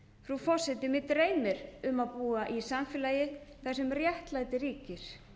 frú forseti mig dreymir um að búa í samfélagi þar sem réttlæti ríkir